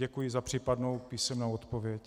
Děkuji za případnou písemnou odpověď.